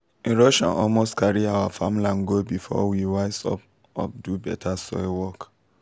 erosion almost carry our farmland go before we wise up up do better soil work.